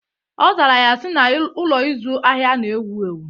Ọ zara ya si, na Ụlọ ịzụ ahịa na-ewu ewu